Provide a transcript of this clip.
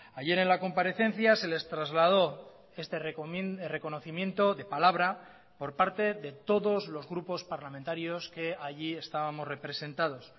ayer en la comparecencia se les trasladó este reconocimiento de palabra por parte de todos los grupos parlamentarios que allí estábamos representados